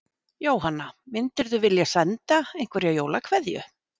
Jóhanna: Myndirðu vilja senda einhverja jólakveðju?